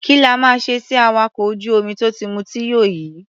Kí la máa ṣe sí awakọ̀ ojú-omi tó ti mutí yó yìí?